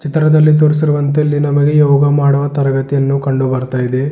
ಚಿತ್ರದಲ್ಲಿ ತೋರಿಸಿರುವಂತೆ ಇಲ್ಲಿ ನಮಗೆ ಯೋಗ ಮಾಡುವ ತರಗತಿಯನ್ನು ಕಂಡು ಬರ್ತಾ ಇದೆ.